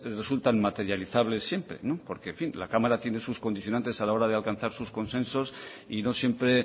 resultan materializables siempre porque la cámara tiene sus condicionantes a la hora de alcanzar sus consensos y no siempre